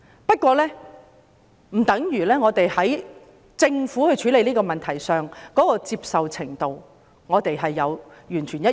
不過，這不等於我們對政府處理這個問題的手法的接受程度完全一致。